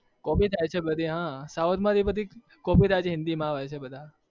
copy થાય છે બધી હા south માંથી બધી copy થાઈ છે હિન્દી માં આવે છે બધા